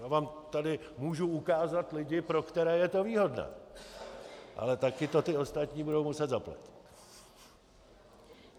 Já vám tady můžu ukázat lidi, pro které je to výhodné, ale také to ti ostatní budou muset zaplatit.